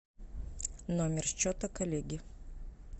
номер счета коллеги